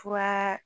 Fura